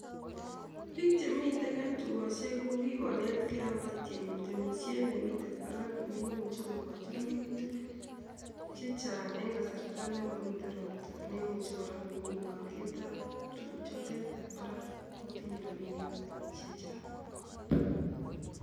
Pik chemite tokosiek kuk kikonetkei akobo temisietab nemite barak nemochi kokochi rururtik chechang eng kasarta ne momite ropta neimuchi kora komi aliet ab tukuk chote ab barak kotinye rabinik chechang